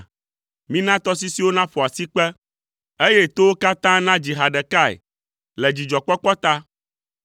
Mina tɔsisiwo naƒo asikpe, eye towo katã nadzi ha ɖekae le dzidzɔkpɔkpɔ ta.